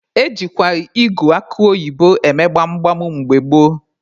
Ejikwa ịgụ akụ oyibo eme gbam gbam mgbe gboo.